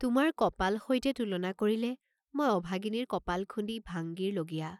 তোমাৰ কপাল সৈতে তুলনা কৰিলে মই অভাগিনীৰ কপাল খুন্দি ভাংগিৰ লগীয়া।